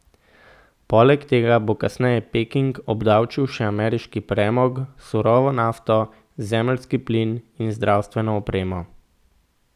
Poleg tega bo kasneje Peking obdavčil še ameriški premog, surovo nafto, zemeljski plin in zdravstveno opremo.